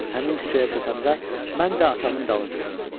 Həmin küçəyə çatanda mən də atamın dalınca döndüm.